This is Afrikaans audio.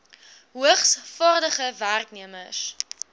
hoogs vaardige werknemers